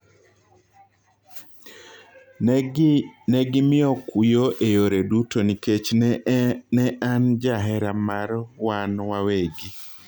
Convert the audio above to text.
"Negimiyo kuyo e yore duto nikech ne an ja hera mar wan wawegi